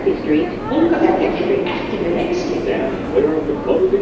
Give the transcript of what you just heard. Unga fólkið ekki með reykskynjara